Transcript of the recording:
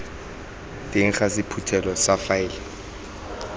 teng ga sephuthelo sa faele